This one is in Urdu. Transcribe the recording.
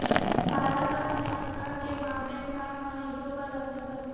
بھارت اور سری لنکا کے مابین سات معاہدوں پر دستخط